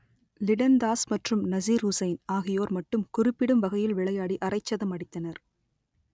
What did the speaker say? லிடன் தாஸ் மற்றும் நசிர் ஹுசைன் ஆகியோர் மட்டும் குறிப்பிடும் வகையில் விளையாடி அரைச்சதம் அடித்தனர்